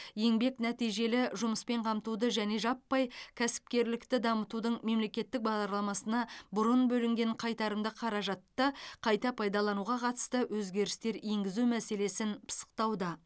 еңбек нәтижелі жұмыспен қамтуды және жаппай кәсіпкерлікті дамытудың мемлекеттік бағдарламасына бұрын бөлінген қайтарымды қаражатты қайта пайдалануға қатысты өзгерістер енгізу мәселесін пысықтауда